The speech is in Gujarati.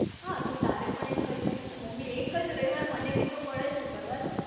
હા તારે પણ એમ કઈ દેવાનું નું ને મમ્મી એક જ રવિવાર મને બી તો મળે છે મને તો ફરવા દો